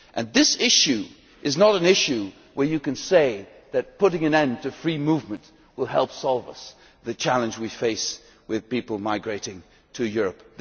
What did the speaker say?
This issue is not an issue where you can say that putting an end to free movement will help us to solve the challenge we face with people migrating to Europe.